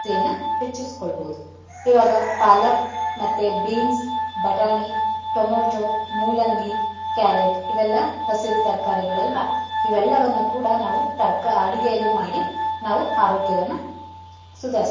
ಹೆಚ್ಚಿಸಕೊಳ್ಬೋದು ಈವಾಗ ಪಾಲಕ್ ಮತ್ತೆ ಬೀನ್ಸ್ , ಬಟಾಣಿ , ಟಮೋಟೋ, ಮೂಲಂಗಿ, ಕ್ಯಾರೆಟ್, ಇವೆಲ್ಲ ಹಸಿರು ತರಕಾರಿಗಳ ಅಲ್ವಾ ಇವೆಲ್ಲವನ್ನಕೂಡ ನಾವು ಅಡುಗೆಯಲ್ಲಿ ಮಾಡಿ ನಾವು ಆರೋಗ್ಯವನ್ನ ಸುಧಾರಿಸ್ಕೊಳ್ಬೋದು.